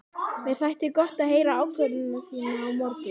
Mér þætti gott að heyra ákvörðun þína á morgun.